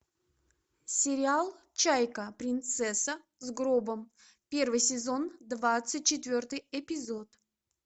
сериал чайка принцесса с гробом первый сезон двадцать четвертый эпизод